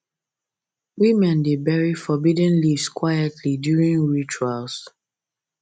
women dey bury forbidden leaves quietly during rituals